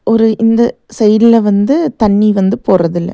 ஒரு இந்த சைடுல வந்து தண்ணி வந்து போறதில்ல.